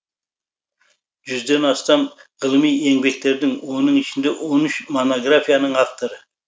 жүзден астам ғылыми еңбектердің оның ішінде он үш монографияның авторы